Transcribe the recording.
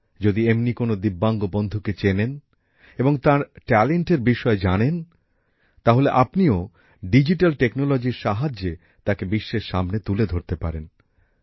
যদি এমনি কোন দিব্যাঙ্গ বন্ধুকে চেনেন এবং তার প্রতিভার বিষয়ে জানেন তাহলে আপনিও ডিজিট্যাল প্রযুক্তির সাহায্যে তাকে বিশ্বের সামনে তুলে ধরতে পারেন